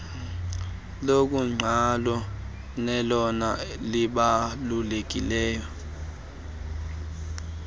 lokuqalo nelona libalulekileyo